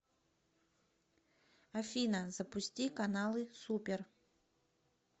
афина запусти каналы супер